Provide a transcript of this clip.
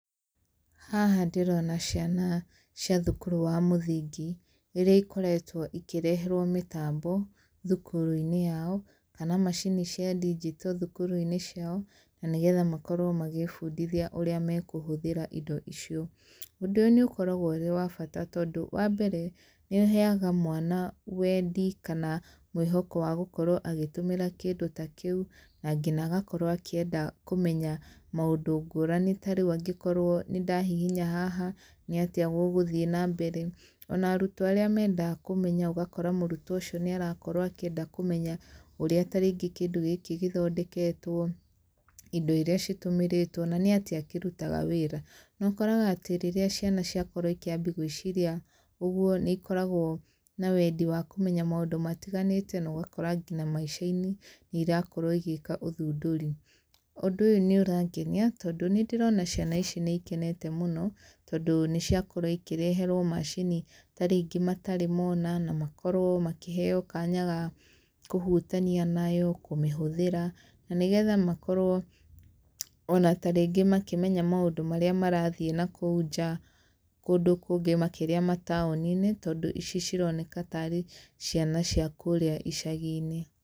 Haha ndĩrona ciana cia thukuru wa mũthingi, rĩrĩa ikoretwo ikĩreherwo mĩtambo thukuru-inĩ yao, kana macini cia ndinjito thukuru-inĩ ciao, na nĩgetha makorwo magĩĩbundithia ũrĩa mekũhũthĩra indo icio. Ũndũ ũyũ nĩ ũkoragwo ũrĩ wa bata tondũ wambere, nĩ ũheaga mwana wendi kana mwĩhoko wa gũkorwo agĩtũmĩra kĩndũ ta kĩu, na nginya agakorwo akĩenda kũmenya maũndũ ngũrani ta rĩu angĩkorwo nĩ ndahihinya haha, nĩ atia gũgũthiĩ na mbere, ona arutwo arĩa mendaga kũmenya ũgakora mũrutwo ũcio nĩ arakorwo akĩenda kũmenya ũrĩa ta rĩngĩ kĩndũ gĩkĩ gĩthondeketwo, indo iria citũmĩrĩtwo na nĩ atĩa kĩrutaga wĩra. Na ũkoraga atĩ rĩrĩa ciana ciakorwo ikĩambia gwĩciria ũguo nĩ ikoragwo na wendi wa kũmenya maũndũ matiganĩte na ũgakora nginya maica-inĩ nĩ irakorwo igĩka ũthundũri. Ũndũ ũyũ nĩ ũrangenia tondũ nĩ ndĩrona ciana ici nĩ ikenete mũno tondũ nĩ ciakorwo ikĩreherwo macini ta rĩngĩ matarĩ mona na makorwo makĩheo kanya ga kũhutania nayo, kũmĩhũthĩra na nĩgetha makorwo ona ta rĩngĩ makĩmenya maũndũ marĩa marathiĩ nakũu nja kũndũ kũngĩ makĩria mataũni-inĩ, tondũ ici cironeka tarĩ ciana cia kũrĩa icagi-inĩ.